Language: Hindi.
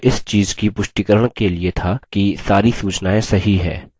यह इस चीज़ की पुष्टिकरण के लिए था कि सारी सूचनाएँ सही है